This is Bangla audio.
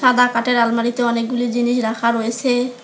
বা কাঠের আলমারিতে অনেকগুলি জিনিস রাখা রয়েসে।